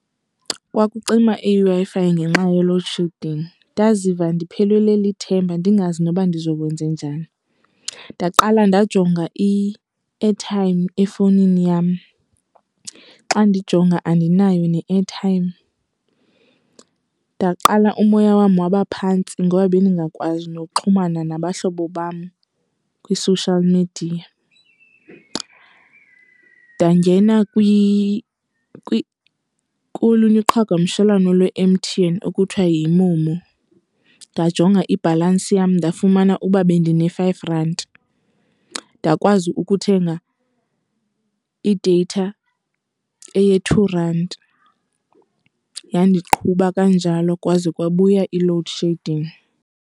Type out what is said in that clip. Kwakucima iWi-Fi ngenxa ye-load shedding. Ndaziva ndiphelelwe lithemba ndingazi noba ndizokwenze njani. Ndaqala ndajonga i-airtime efowunini yam. Xa ndijonga andinayo ne-airtime. Ndaqala umoya wam wabaphantsi ngoba bendingakwazi nokuxhumana nabahlobo bam kwi-social media. Ndangena kolunye uqhagamshelwano lwe-M_T_N okuthiwa yiMoMo, ndajonga ibhalansi yam ndafumana uba bendine-five rand. Ndakwazi ukuthenga ideyitha eye-two rand yandiqhuba kanjalo kwaze kwabuya i-load shedding.